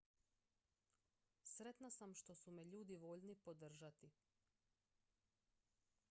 sretna sam što su me ljudi voljni podržati